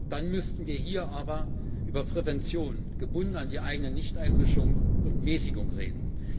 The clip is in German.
Dann müssten wir hier aber über Prävention gebunden an die eigene Nichteinmischung und Mäßigung reden.